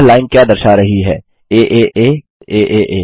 यह लाइन क्या दर्शा रही है एए aaa